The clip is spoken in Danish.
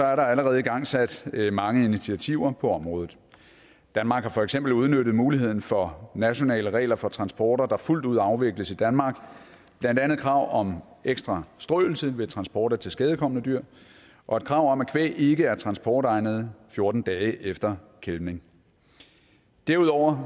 er der allerede igangsat mange initiativer på området danmark har for eksempel udnyttet muligheden for nationale regler for transporter der fuldt ud afvikles i danmark blandt andet krav om ekstra strøelse ved transport af tilskadekomne dyr og et krav om at kvæg ikke er transportegnet fjorten dage efter kælvning derudover